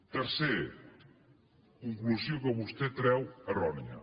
tercer conclusió que vostè treu errònia